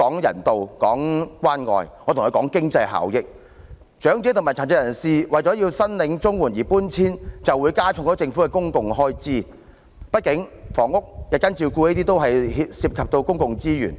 如果長者和殘疾人士為申領綜援而遷出，便會增加政府的公共開支，畢竟房屋、日間照顧服務等均涉及公共資源。